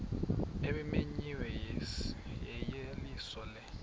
ebimenyiwe yeyeliso lo